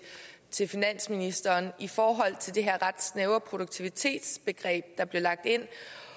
finansministeren i forhold til det her ret snævre produktivitetsbegreb der blev lagt ind